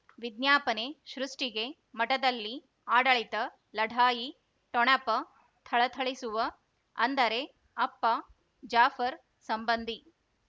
ವಿಜ್ಞಾಪನೆ ಸೃಷ್ಟಿಗೆ ಮಠದಲ್ಲಿ ಆಡಳಿತ ಲಢಾಯಿ ಠೊಣಪ ಥಳಥಳಿಸುವ ಅಂದರೆ ಅಪ್ಪ ಜಾಫರ್ ಸಂಬಂಧಿ